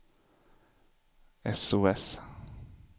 sos